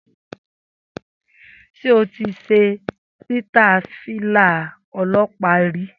Sé o ti ṣe sítàì Fìlà-ọlọ́pàá rí?